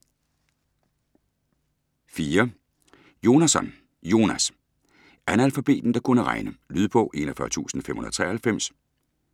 Jonasson, Jonas: Analfabeten der kunne regne Lydbog 41593